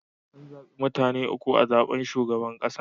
An zabi mutane uku a zaben shugaban kasa.